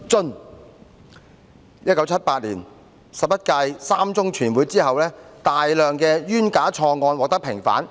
"在1978年十一屆三中全會後，大量冤假錯案獲得平反。